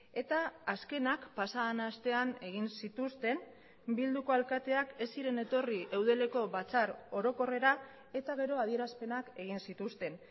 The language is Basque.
eta azkenak pasa den astean egin zituzten bilduko alkateak ez ziren etorri eudeleko batzar orokorrera eta gero adierazpenak egin zituzten